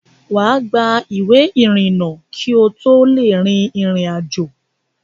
Wà á gba ìwé ìrìnnà kí o tó lè rin ìrìn àjò.